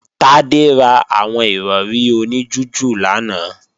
Tádé ra àwọn Ìrọ̀rí oní jújù lánàá